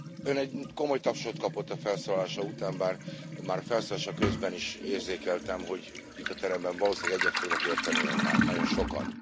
Ön komoly tapsot kapott a felszólalása után, bár már felszólalása közben is érzékeltem, hogy itt a teremben valószínűleg egyet fognak érteni Önnel nagyon sokan.